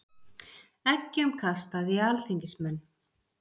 Eggjum kastað í alþingismenn